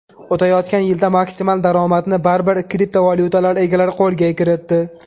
O‘tayotgan yilda maksimal daromadni baribir kriptovalyutalar egalari qo‘lga kiritdi.